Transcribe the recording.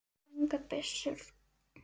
Engar byssur.